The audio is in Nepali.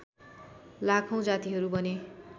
लाखौँ जातिहरू बने